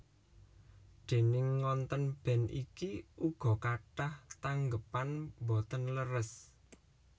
Déning ngontèn band iki uga kathah tanggépan boten leres